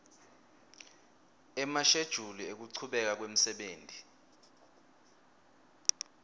emashejuli ekuchubeka kwemsebenti